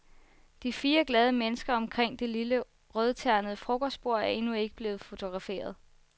De fire glade mennesker omkring det lille rødternede frokostbord er endnu ikke blevet fotograferet.